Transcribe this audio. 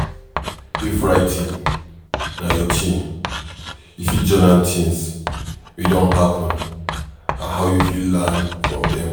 If writing na your thing you fit journal things wey don happen and how you fit learn from them